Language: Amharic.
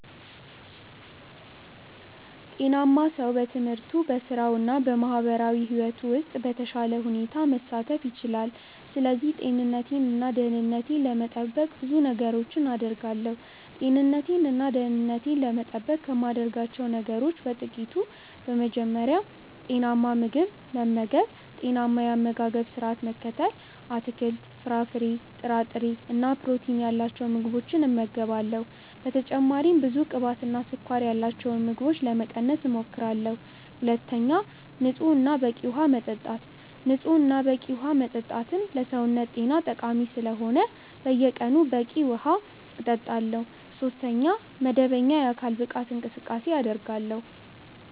ጤናማ ሰው በትምህርቱ፣ በሥራው እና በማህበራዊ ሕይወቱ ውስጥ በተሻለ ሁኔታ መሳተፍ ይችላል። ስለዚህ ጤንነቴን እና ደህንነቴን ለመጠበቅ ብዙ ነገሮችን አደርጋለሁ። ጤንነቴን እና ደህንነቴን ለመጠበቅ ከማደርጋቸው ነገሮች በ ጥቅቱ፦ በመጀመሪያ, ጤናማ ምግብ መመገብ(ጤናማ የ አመጋገባ ስረዓት መከተል ):- አትክልት፣ ፍራፍሬ፣ ጥራጥሬ እና ፕሮቲን ያላቸው ምግቦችን እመገባለሁ። በተጨማሪም ብዙ ቅባትና ስኳር ያላቸውን ምግቦች ለመቀነስ እሞክራለሁ። ሁለተኛ, ንጹህ እና በቂ ውሃ መጠጣት። ንጹህ እና በቂ ዉሃ መጠጣትም ለሰውነት ጤና ጠቃሚ ስለሆነ በየቀኑ በቂ ውሃ እጠጣለሁ። ሶስተኛ, መደበኛ የአካል ብቃት እንቅስቃሴ አደርጋለሁ።